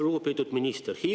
Lugupeetud minister!